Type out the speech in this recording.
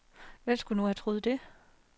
Hvem skulle nu have troet det.